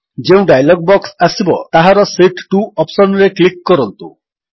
ଯେଉଁ dialog box ଆସିବ ତାହାର ଶୀତ୍ 2 ଅପ୍ସନ୍ ରେ କ୍ଲିକ୍ କରନ୍ତୁ